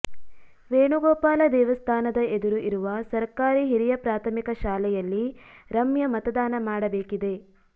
ವೇಣುಗೋಪಾಲ ದೇವಸ್ಥಾನದ ಎದುರು ಇರುವ ಸರ್ಕಾರಿ ಹಿರಿಯ ಪ್ರಾಥಮಿಕ ಶಾಲೆಯಲ್ಲಿ ರಮ್ಯಾ ಮತದಾನ ಮಾಡಬೇಕಿದೆ